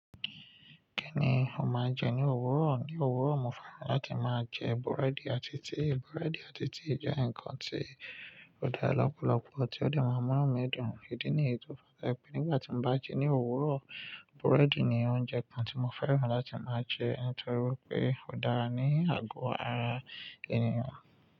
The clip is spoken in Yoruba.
Kí ni mo máa jẹ ní òwúrọ̀? Ní òwúrọ̀, mo fẹ́ràn láti máa jẹ búrẹ́dì àti tíì. Búrẹ́dì àti tíì jẹ́ ǹkan tí ó dára lọ́pọ̀lọpọ̀ tí ó dè máa mú inú mi dùn. Ìdí nìyẹn tí mo fi like è nígbà tí mo bá jẹ ní òwúrọ̀, búrẹ́dì ni oúnjẹ kan tí mo fẹ́ràn láti máa jẹ nítorí pé ó dára ní àgọ́ ara ènìyàn.